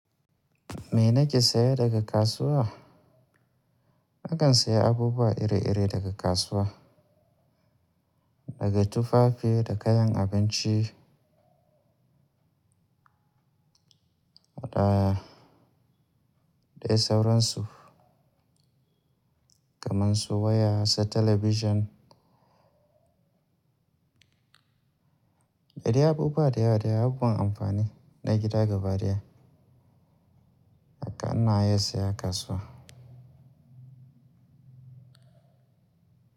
Me na ke saya daga kasuwa? Na kan saya abubuwa iri-iri daga kasuwa, daga tufafi da kayan abinci, waɗa dai sauransu kamar su waya da talabijin. Da dai abubuwa da yawa da yawa masu amfani na gida gaba daya, haka na iya saya a kasuwa.